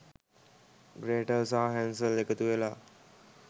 Gretel සහ Hansel එකතු වෙලා